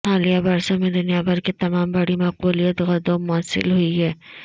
حالیہ برسوں میں دنیا بھر کے تمام بڑی مقبولیت گدوں موصول ہوئی ہے